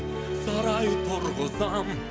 сарай тұрғызам